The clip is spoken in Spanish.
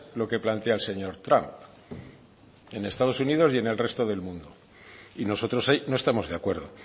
lo que plantea el señor trump en estados unidos y en el resto del mundo y nosotros ahí no estamos de acuerdo